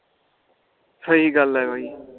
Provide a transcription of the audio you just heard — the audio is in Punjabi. ਸਹੀ ਗੱਲ ਆ ਬਾਈ